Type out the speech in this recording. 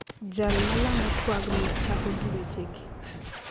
Jal malando twagno chako gi wechegi: